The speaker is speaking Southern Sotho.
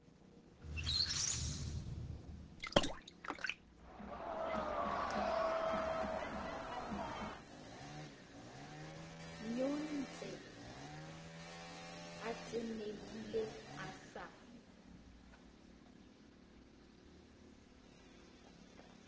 nyontse a tenehile a sa